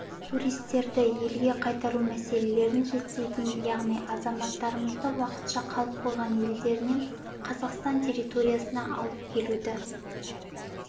туристерді елге қайтару мәселелерін реттейтін яғни азаматтарымызды уақытша қалып қойған елдерінен қазақстан территориясына алып келуді